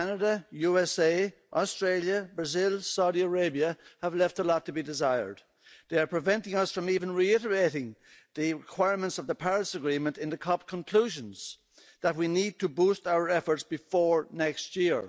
Canada, USA, Australia, Brazil, Saudi Arabia have left a lot to be desired. They are preventing us from even reiterating the requirements of the Paris Agreement in the COP conclusions that we need to boost our efforts before next year.